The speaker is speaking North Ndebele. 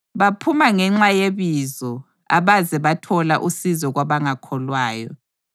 Baphuma ngenxa yeBizo, abaze bathola usizo kwabangakholwayo.